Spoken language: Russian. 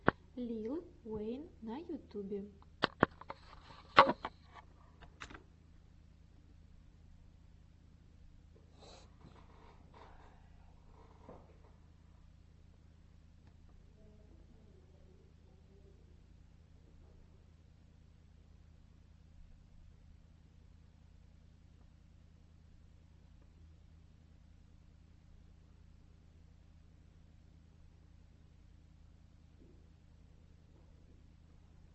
лил уэйн на ютубе